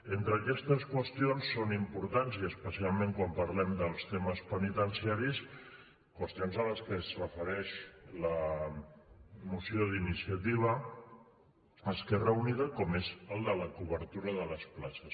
entre aquestes qüestions són importants i especialment quan parlem dels temes penitenciaris qüestions a què es refereix la moció d’iniciativa esquerra unida com és el de la cobertura de les places